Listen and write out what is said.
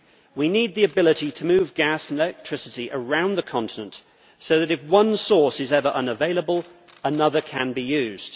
We need the ability to move gas and electricity around the continent, so that if one source is ever unavailable, another can be used.